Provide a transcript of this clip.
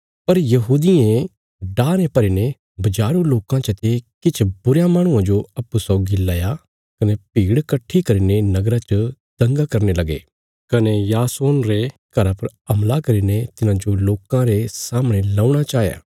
पर यहूदियें डाह ने भरी ने बजारू लोकां चते किछ बुरयां माहणुआं जो अप्पूँ सौगी लया कने भीड़ कट्ठी करीने नगरा च दंगा करने लगे कने यासोन रे घरा पर हमला करीने तिन्हांजो लोकां रे सामणे लौणा चाया